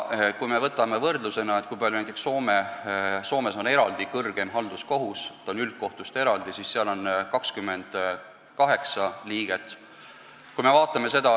Kui me võtame võrdlusena, kui palju liikmeid on näiteks Soomes, siis seal on eraldi kõrgeim halduskohus, kus on 28 liiget.